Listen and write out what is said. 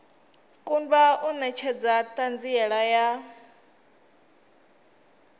kundwa u netshedza thanziela ya